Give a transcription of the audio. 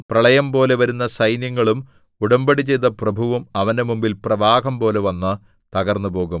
പ്രളയം പോലെ വരുന്ന സൈന്യങ്ങളും ഉടമ്പടി ചെയ്ത പ്രഭുവും അവന്റെ മുമ്പിൽ പ്രവാഹം പോലെ വന്ന് തകർന്നുപോകും